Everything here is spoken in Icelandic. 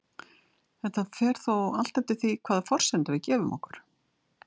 Þetta fer þó allt eftir því hvaða forsendur við gefum okkur.